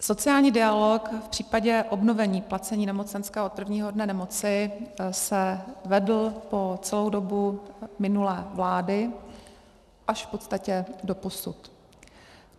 Sociální dialog v případě obnovení placení nemocenské od prvního dne nemoci se vedl po celou dobu minulé vlády až v podstatě doposud.